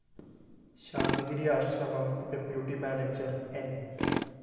Santhigiri Ashram deputy manager ന്‌